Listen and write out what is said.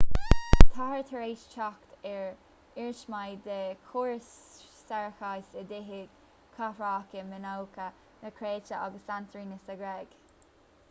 táthar tar éis teacht ar iarsmaí de chórais séarachais i dtithe chathracha mionócha na créite agus santorini sa ghréig